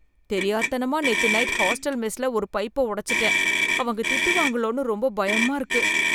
தெரியாத்தனமா நேத்து night hostel மெஸ்ல ஒரு பைப்ப உடைச்சுட்டேன், அவங்க திட்டுவாங்களோனு ரொம்ப பயமா இருக்கு.